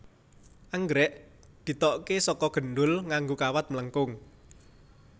Anggrèk ditokaké saka gendul nganggo kawat mlengkung